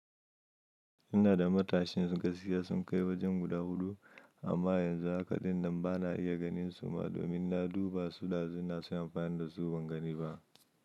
Ina da matashin gaskiya sun kai wajen guda huɗu amma yanzu haka din nan bana iya ganin su ma domin na duba su dazu nasu amfani da su ban gani ba.